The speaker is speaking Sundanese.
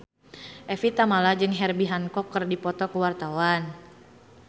Evie Tamala jeung Herbie Hancock keur dipoto ku wartawan